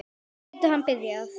Nú getur hann byrjað.